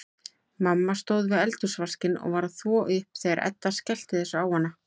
Mamma stóð við eldhúsvaskinn og var að þvo upp þegar Edda skellti þessu á hana.